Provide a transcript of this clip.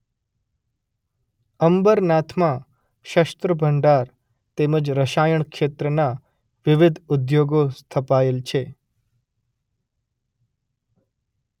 અંબરનાથમાં શસ્ત્રભંડાર તેમજ રસાયણ ક્ષેત્રનાં વિવિધ ઉદ્યોગો સ્થપાયેલ છે.